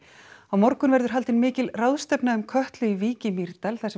á morgun verður haldin mikil ráðstefna um Kötlu í Vík í Mýrdal þar